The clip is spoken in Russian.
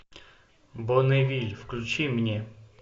бонневиль включи мне